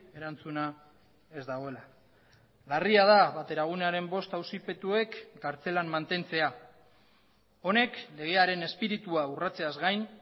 erantzuna ez dagoela larria da bateragunearen bost auzipetuek kartzelan mantentzea honek legearen espiritua urratzeaz gain